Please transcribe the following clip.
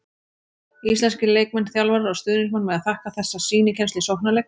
Íslenskir leikmenn, þjálfarar og stuðningsmenn mega þakka þessa sýnikennslu í sóknarleik.